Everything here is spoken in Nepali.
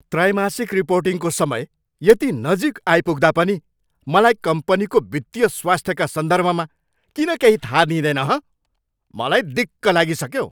त्रैमासिक रिपोर्टिङको समय यति नजिक आइपुग्दा पनि मलाई कम्पनीको वित्तीय स्वास्थ्यका सन्दर्भमा किन केही थाहा दिइँदैन, हँ? मलाई दिक्क लागिसक्यो।